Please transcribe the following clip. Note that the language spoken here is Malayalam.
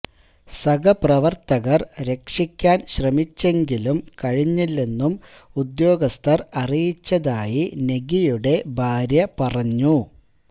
സഹപ്രവര്ത്തകര് രക്ഷിക്കാന് ശ്രമിച്ചെങ്കിലും കഴിഞ്ഞില്ലെന്നും ഉദ്യോഗസ്ഥര് അറിയിച്ചതായി നെഗിയുടെ ഭാര്യ പറഞ്ഞു